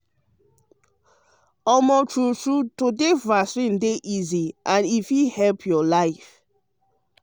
true true to take vaccine to take vaccine um dey easy and e fit save your life.